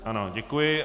Ano, děkuji.